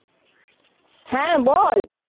হ্যা, বল।